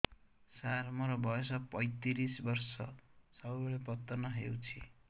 ସାର ମୋର ବୟସ ପୈତିରିଶ ବର୍ଷ ସବୁବେଳେ ପତନ ହେଉଛି